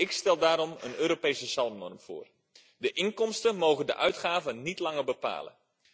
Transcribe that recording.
Ik stel daarom een Europese Zalmnorm voor de inkomsten mogen de uitgaven niet langer bepalen.